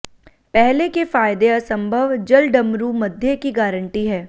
पहले के फायदे असंभव जलडमरूमध्य की गारंटी है